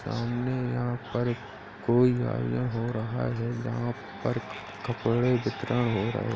सामने यहाँ पर कोई हो रहा है जहां पर कपड़े बिक्रा हो रहे --